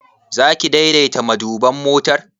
Zaki daidaita maduban motar?